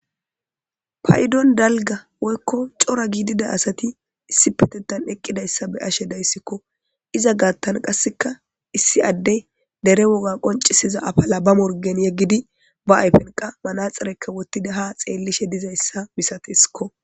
Payidon daliga woyikko cora gidida asati isippetetan eqidaysi beishe dayissikko iza gatan qaseka issi adde dere woga concisida afala ba morigen yegidi ba ayifen maraxinka wotidi ha xelishe dizayis misatesikko.